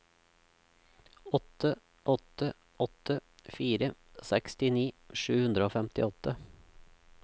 åtte åtte åtte fire sekstini sju hundre og femtiåtte